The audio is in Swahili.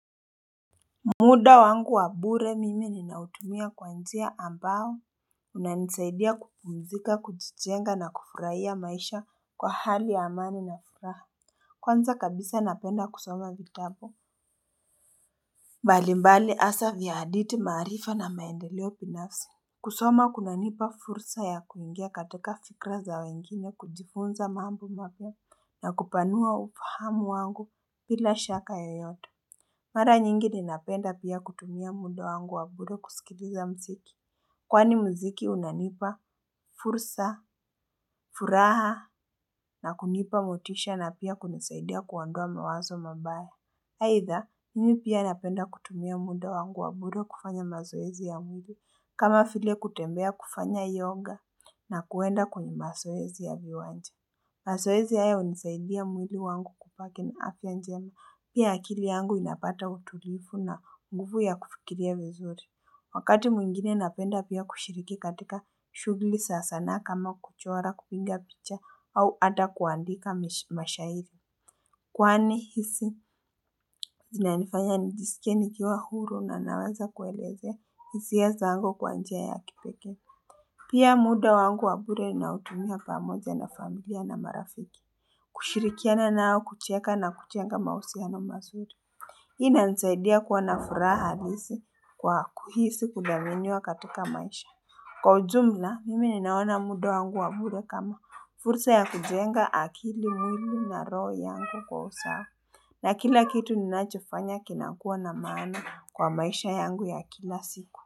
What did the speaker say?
Muda wangu wa bure mimi ninautumia kwa njia ambayo, hunisaidia kupumzika, kujijenga na kufurahia maisha kwa hali ya amani na furaha. Kwanza kabisa napenda kusoma vitabu. Mbalimbali hasa vya hadithi, maarifa na maendeleo binafsi. Kusoma kunanipa fursa ya kuingia katika fikra za wengine kujifunza mambo mapya na kupanua ufahamu wangu bila shaka yoyote. Mara nyingi ninapenda pia kutumia muda wangu wa bure kusikiliza mziki. Kwani mziki unanipa fursa, furaha na kunipa motisha na pia kunisaidia kuondoa mawazo mabaya. Aitha, mimi pia napenda kutumia muda wangu wa bure kufanya mazoezi ya mwili, kama vile kutembea, kufanya yoga na kwenda kwenye mazoezi ya viwanja. Mazoezi hayo hunisaidia mwili wangu kubaki na afya njema. Pia akili yangu inapata utulivu na nguvu ya kufikiria vizuri. Wakati mwingine napenda pia kushiriki katika shughuli za sanaa kama kuchora, kupiga picha au hata kuandika mashahiri. Kwani hisia, zinanifanya nijisikie nikiwa huru na naweza kuelezea hisia zangu kwa njia ya kipekee. Pia muda wangu wa bure nautumia pamoja na familia na marafiki. Kushirikiana nao kucheka na kujenga mahusiano mazuri. Hii inanisaidia kuwa na furaha halisi kwa kuhisi kuthaminiwa katika maisha. Kwa ujumla, mimi ninaona muda wangu wa bure kama fursa ya kujenga akili, mwili na roho yangu kwa usawa. Na kila kitu ninachofanya kinakuwa na maana kwa maisha yangu ya kila siku.